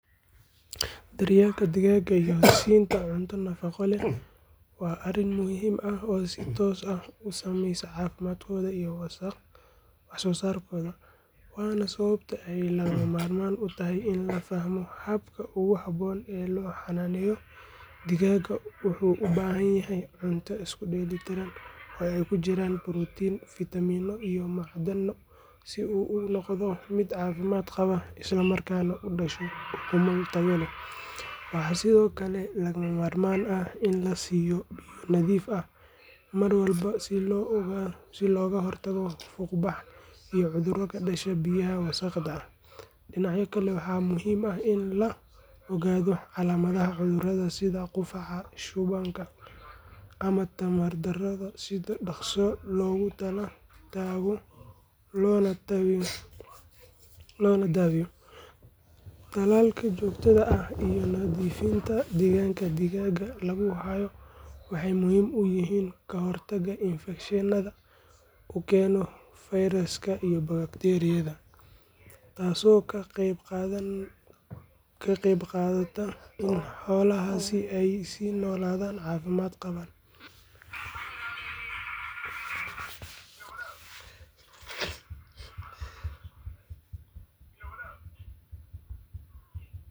Daryeelka digaagga iyo siinta cunto nafaqo leh waa arrin muhiim ah oo si toos ah u saameeya caafimaadkooda iyo waxsoosaarkooda, waana sababta ay lagama maarmaan u tahay in la fahmo habka ugu habboon ee loo xanaaneeyo. Digaaggu wuxuu u baahan yahay cunto isku dheellitiran oo ay ku jiraan borotiinno, fitamiino iyo macdano si uu u noqdo mid caafimaad qaba isla markaana u dhasho ukumo tayo leh. Waxaa sidoo kale lagama maarmaan ah in la siiyo biyo nadiif ah mar walba si looga hortago fuuqbax iyo cudurro ka dhasha biyaha wasakhda ah. Dhinaca kale, waxaa muhiim ah in la ogaado calaamadaha cudurrada sida qufaca, shubanka ama tamar darro si dhaqso loogu tala tago loona daweeyo. Tallaalka joogtada ah iyo nadiifinta degaanka digaagga lagu hayo waxay muhiim u yihiin ka hortagga infekshannada uu keeno fayraska iyo bakteeriyada, taasoo ka qaybqaadata in xoolahaasi ay sii noolaadaan caafimaad qaba.